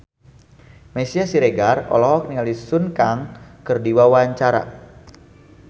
Meisya Siregar olohok ningali Sun Kang keur diwawancara